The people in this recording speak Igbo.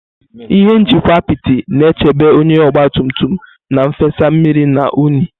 Ihe nchekwa apiti na-echebe onye ogba tum tum na nfesa mmiri na unyi.